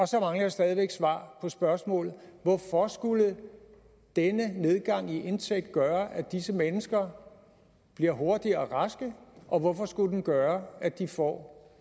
så mangler jeg stadig væk svar på spørgsmålet hvorfor skulle denne nedgang i indtægt gøre at disse mennesker bliver hurtigere raske og hvorfor skulle den gøre at de får